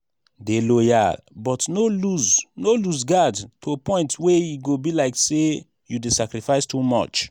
dey loyal but no loose no loose guard to point wey e go be like sey you dey sacrifice too much